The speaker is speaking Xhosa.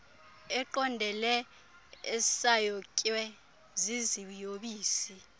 eqondele esayotywe ziziyobisi